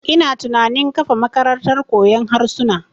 Ina tunanin kafa makarantar koyon harsuna.